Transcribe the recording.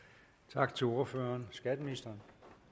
tak til ordføreren skatteministeren